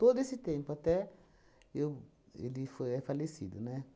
Todo esse tempo, até eu... Ele foi é falecido, né?